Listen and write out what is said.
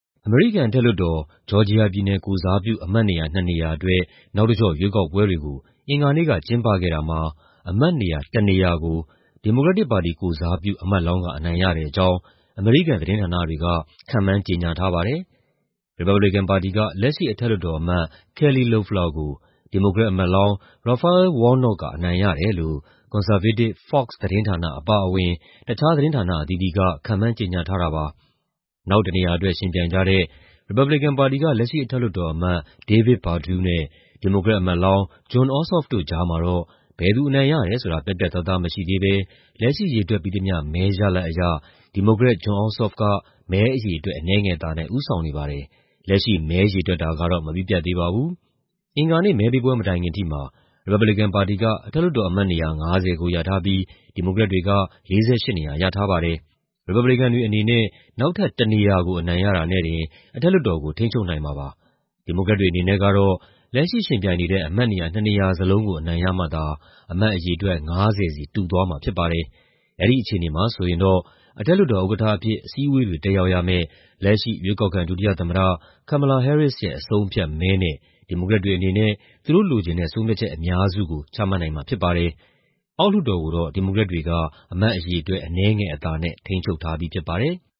အမေရိကန်အထက်လွှတ်တော်၊ ဂျော်ဂျီယာပြည်နယ်ကိုယ်စားပြု အမတ်နေရာ ၂ နေရာအတွက် နောက်တကျော့ရွေးကောက်ပွဲတွေကို အင်္ဂါနေ့ကကျင်းပခဲ့တာမှာ အမတ်နေရာတနေရာကို ဒီမိုကရက်တစ်ပါတီကိုယ်စားပြု အမတ်လောင်းက အနိုင်ရတဲ့အကြောင်း အမေရိကန် သတင်းဌာနတွေက ခန့်မှန်း ကြေညာထားပါတယ်။ ရီပတ်ဘလီကန်ပါတီက လက်ရှိအထက်လွှတ်တော်အမတ် Kelly Loeffler ကို ဒီမိုကရက်အမတ်လောင်း Raphael Warnock က အနိုင်ရတယ်လို့ ကွန်ဆာဗေးတစ် Fox သတင်းဌာနအပါအဝင် တခြားသတင်းဌာနအသီးသီးက ခန့်မှန်းကြေညာထားတာပါ။ နောက်တနေရာအတွက် ယှဉ်ပြိုင်ကြတဲ့ ရီပတ်ဘလီကန်ပါတီက လက်ရှိအထက်လွှတ်တော်အမတ် David Perdue နဲ့ ဒီမိုကရက်အမတ်လောင်း Jon Ossof တို့ကြားမှာတော့ ဘယ်သူအနိုင်ရတယ်ဆိုတာ ပြတ်ပြတ်သားသား မရှိသေးဘဲ လက်ရှိရေတွက်ပြီးသမ ျှ မဲရလဒ်အရ ဒီမိုကရက် Jon Ossof က မဲအရေအတွက် အနည်းငယ်အသာနဲ့ ဦးဆောင်နေပါတယ်။ လက်ရှိမှာ မဲရေတွက်တာ မပြီးပြတ်သေးပါဘူး။ အင်္ဂါနေ့ မဲပေးပွဲမတိုင်ခင်ထိမှာ ရီပတ်ဘလီကန်ပါတီက အထက်လွှတ်တော်အမတ်နေရာ ၅၀ ကိုရထားပြီး ဒီမိုကရက်တွေက ၄၈ နေရာရထားပါတယ်။ ရီပတ်ဘလီကန်တွေအနေနဲ့ နောက်ထပ်တနေရာကို အနိုင်ရတာနဲ့တင် အထက်လွှတ်တော်ကို ထိန်းချုပ်နိုင်မှာဖြစ်ပါတယ်။ ဒီမိုကရက်တွေအနေနဲ့ကတော့ လက်ရှိယှဉ်ပြိုင်နေတဲ့ အမတ်နေရာ ၂ နေရာစလုံးကို အနိုင်ရမှသာ အမတ်အရေအတွက် ၅၀ စီ တူသွားမှာဖြစ်ပါတယ်။ အဲဒီအခြေအနေမှာဆိုရင်တော့ အထက်လွှတ်တော်ဥက္ကဋ္ဌအဖြစ် အစည်းအဝေးတွေ တက်ရောက်ရမယ့် လက်ရှိ ရွေးကောက်ခံ ဒုတိယသမ္မတ Kamala Harris ရဲ့ အဆုံးအဖြတ်မဲနဲ့ ဒီမိုကရက်တွေအနေနဲ့ သူတို့လိုချင်တဲ့ ဆုံးဖြတ်ချက်အများစုကို ချမှတ်နိုင်မှာဖြစ်ပါတယ်။ အောက်လွှတ်တော်ကိုတော့ ဒီမိုကရက်တွေက အမတ်အရေအတွက် အနည်းငယ်အသာနဲ့ ထိန်းချုပ်ထားပြီးဖြစ်ပါတယ်။